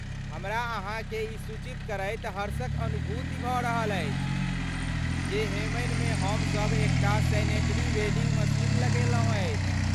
हमरा अहाँकेँ ई सूचित करैत हर्षक अनुभूति भऽ रहल अछि जे हेमनिमे हमसभ एक टा सैनिटरी वेंडिंग मशीन लगेलहुँ अछि।